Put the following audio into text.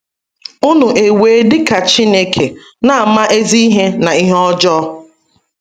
“ Ụnu ewee dị ka Chineke, na - ama ezi ihe na ihe ọjọọ ”